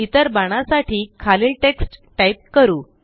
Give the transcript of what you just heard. इतर बाणासाठी खालील टेक्स्ट टाईप करू